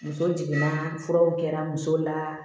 Muso jiginna furaw kɛra muso la